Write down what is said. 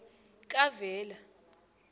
kavela